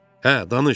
Hə, danış.